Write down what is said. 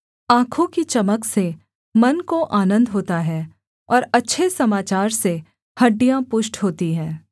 आँखों की चमक से मन को आनन्द होता है और अच्छे समाचार से हड्डियाँ पुष्ट होती हैं